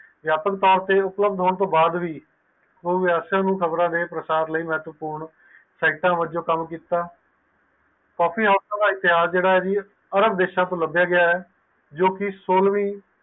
ਵਯਾਪਕ ਤੋਰ ਤੇ ਉਪਲਬਦ ਹੋਣ ਤੋਂ ਬਾਅਦ ਉਸ ਖ਼ਬਰ ਲਈ ਮਹੱਤਵਪੂਰਨ ਹੈ ਸੈਕਟਰ ਵਲੋਂ ਕਾਮ ਕੀਤਾ ਕਾਪੀ ਹੋਸ਼ ਦਾ ਇਤਿਹਾਸ ਜੇਰਾ ਹੈ ਓ ਅਰਬ ਦੇਸ ਤੋਂ ਲਾਬੇਯਾ ਗਿਆ ਹੈ ਜੋ ਕਿ ਸੋਲਵੀਂ